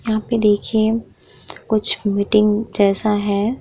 यहाँ पे देखिए कुछ मीटिंग जैसा है।